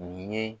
U ye